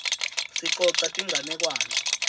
sicoca tinganekwane